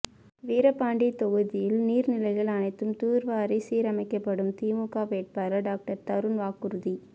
வீரபாண்டி தொகுதியில் நீர்நிலைகள் அனைத்தும் தூர்வாரி சீரமைக்கப்படும் திமுக வேட்பாளர் டாக்டர் தருண் வாக்குறுதி